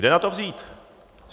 Kde na to vzít?